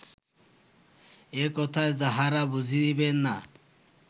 এ কথায় যাঁহারা বুঝিবেন না